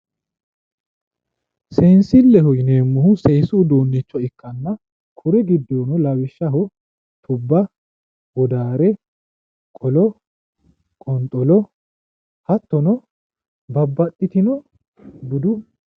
seensilleho yineemmohu seesu uduunnicho ikkanna kuri giddono lawishshaho tubba wodaare qolo qonxolo hatto babbaxitino budu...